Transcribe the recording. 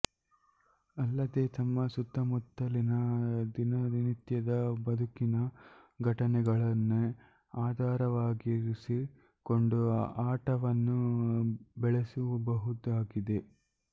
ಅಲ್ಲದೆ ತಮ್ಮ ಸುತ್ತುಮುತ್ತಲಿನ ದಿನನಿತ್ಯದ ಬದುಕಿನ ಘಟನೆಗಳನ್ನೇ ಆಧಾರವಾಗಿರಿಸಿಕೊಂಡು ಆಟವನ್ನು ಬೆಳೆಸಬಹುದಾಗಿದೆ